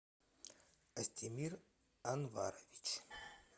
костемир анварович